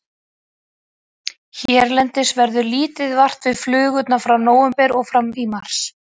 Hérlendis verður lítið vart við flugurnar frá nóvember og fram í mars.